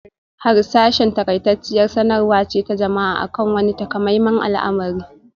Harsashi n taƙaitacciyar sanarwa ce ta jama'a akan wani takamaiman al'amari